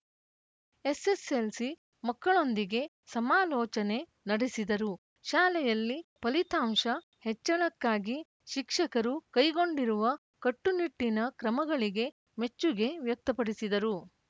SSLC ಮಕ್ಕಳೊಂದಿಗೆ ಸಮಾಲೋಚನೆ ನಡೆಸಿದರು ಶಾಲೆಯಲ್ಲಿ ಫಲಿತಾಂಶ ಹೆಚ್ಚಳಕ್ಕಾಗಿ ಶಿಕ್ಷಕರು ಕೈಗೊಂಡಿರುವ ಕಟ್ಟುನಿಟ್ಟಿನ ಕ್ರಮಗಳಿಗೆ ಮೆಚ್ಚುಗೆ ವ್ಯಕ್ತಪಡಿಸಿದರು